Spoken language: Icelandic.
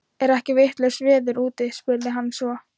Er ekki vitlaust veður úti? spurði hann svo.